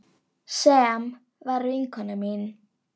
Sem var vinkona mín.